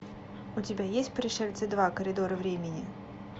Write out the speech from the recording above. у тебя есть пришельцы два коридоры времени